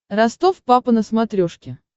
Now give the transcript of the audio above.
ростов папа на смотрешке